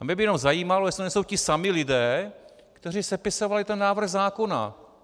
A mě by jenom zajímalo, jestli to nejsou ti samí lidé, kteří sepisovali ten návrh zákona.